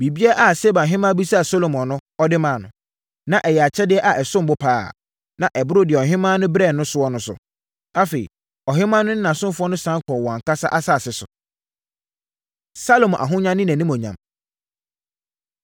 Biribiara a Seba Ɔhemmaa bisaa ɔhene Salomo no, ɔde maa no. Na ɛyɛ akyɛdeɛ a ɛsom bo pa ara, na ɛboro deɛ ɔhemmaa de brɛɛ noɔ no so. Afei, ɔhemmaa no ne nʼasomfoɔ no sane kɔɔ wɔn ankasa asase so. Salomo Ahonya Ne Animuonyam